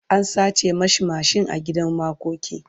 an sace masa mashin a gidan makoki